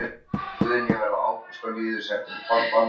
Guðný: Verða Ágúst og Lýður settir í farbann?